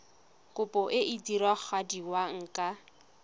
kopo e e diragadiwa ka